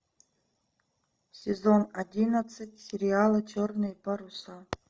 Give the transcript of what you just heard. сезон одиннадцать сериала черные паруса